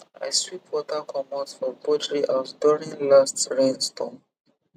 i sweep water comot for poultry house during last rainstorm